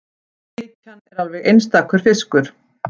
Bleikjan er alveg einstakur fiskur